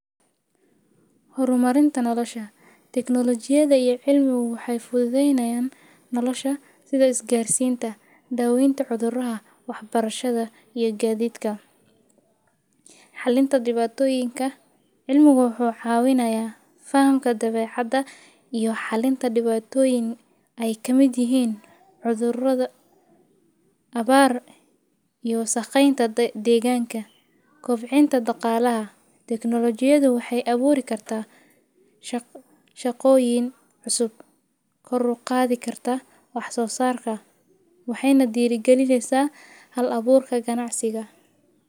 Hormarinta nolosha, Technology ajiyada iyo cilmiyadu waxay fududeynayaan nolosha sida isgaarsiinta, daweynta cuduraha, waxbarashada iyo gaadiidka xalinta dhibaatoyinka. Cilmiguu xawineynaa fahamka dabeecadda iyo xalinta dhibaatoyin ay ka madiyeen cudurrada abbaar iyo saqeynta deegaanka. Kobcinta dhaqaalaha. Technology ajiyadu waxay abuuritaan shaqooyin cusub kordhugqaadi kartaa. Wax soo saarka waxay na diri geliaysaa hal-abuurka ganacsiga.